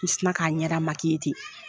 N sin na k'a ɲɛda te.